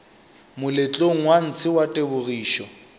moletlong wa ntshe wa tebogišo